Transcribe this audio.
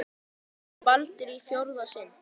Skorar Baldur í fjórða sinn?